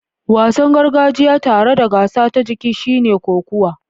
Wasan gargajiya tare da gasa ta jiki shine kokuwa.